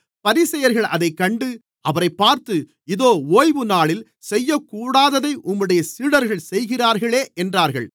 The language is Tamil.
பரிசேயர்கள் அதைக் கண்டு அவரைப் பார்த்து இதோ ஓய்வுநாளில் செய்யக்கூடாததை உம்முடைய சீடர்கள் செய்கிறார்களே என்றார்கள்